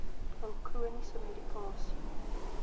hul chroniese medikasie